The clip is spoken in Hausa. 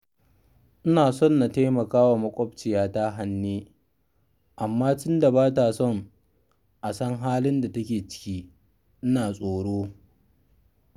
Ina so na taimaka wa maƙwabciyata Hanne, amma tunda ba ta son a san halin da take ciki, ina tsoro